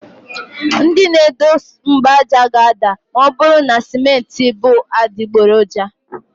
Ndị na edo mgbaaja ga-ada ma ọ bụrụ na simenti bú adịgboroja.